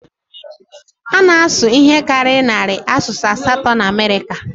A na-asụ ihe karịrị narị asụsụ atọ na Amerịka